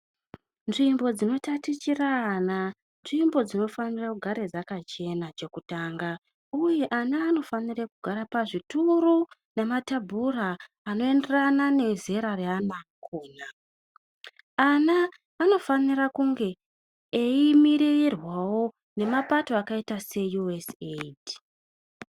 Nzvimbo dzinotatichire ana nzvimbo dzinofanira kugara dzakachena chekutanga. Uye ana anofanire kugara pazvituru nematebhura anoenderane nezera reana akhona. Ana anofanira kunge eimirirwawo nemapato akaita se USAID.